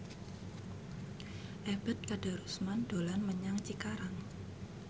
Ebet Kadarusman dolan menyang Cikarang